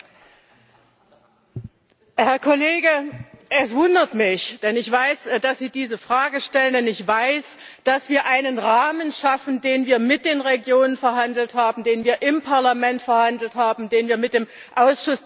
Herr Kollege, es wundert mich, dass Sie diese Frage stellen, ich weiß, denn dass wir einen Rahmen schaffen, den wir mit den Regionen verhandelt haben, den wir im Parlament verhandelt haben, den wir mit dem Ausschuss der Regionen verhandelt haben.